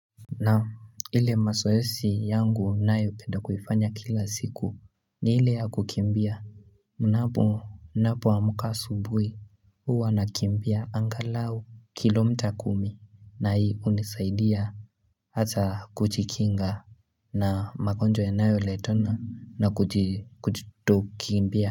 Naam ile masoesi yangu nayo penda kuifanya kila siku ni ile ya kukimbia mnapo napo amuka asubui hua nakimbia angalau kilo mita kumi na hii unisaidia hata kuchikinga na magonjwa yanayo letena na kuchi kujitokimbia.